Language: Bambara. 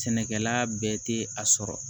Sɛnɛkɛla bɛɛ tɛ a sɔrɔ